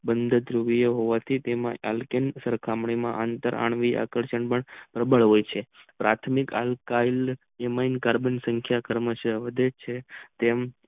બન હોવાથી તેમાં અલ્કેન તેમાં અતરણ પ્રબળ હોય છે પાર્થીમિક આલકાય હોવાથી એમાં કાર્બેન સખીયા વધે છે તેમ